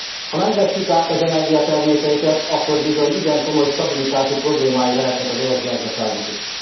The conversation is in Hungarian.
Ha nem vesszük át az energiatermékeiket, akkor bizony igen komoly stabilitási problémái lehetnek az orosz gazdaságnak is.